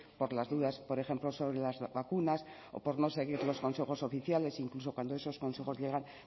por las dudas por ejemplo sobre las vacunas o por no seguir los consejos oficiales incluso cuando esos consejos llegan